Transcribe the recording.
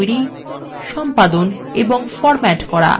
charts তৈরি সম্পাদন এবং ফরম্যাট করা